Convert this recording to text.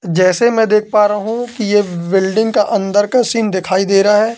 जैसे मैं देख पा रहा हूं कि यह बिल्डिंग का अंदर का सीन दिखाई दे रहा है।